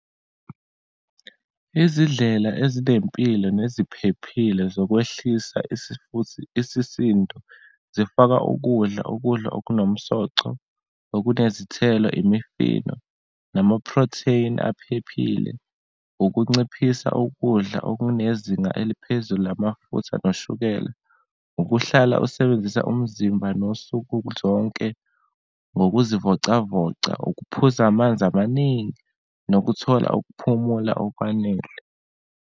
Izidlela ezinempilo neziphephile zokwehlisa isifuthi, isisindo zifaka ukudla, ukudla okunomsoco, nokunezithelo, imifino, namaprotheni aphephile, ukunciphisa ukudla okunezinga eliphezulu lamafutha noshukela, ukuhlala usebenzisa umzimba nosuku zonke ngokuzivocavoca, ukuphuza amanzi amaningi, nokuthola ukuphumula okwanele.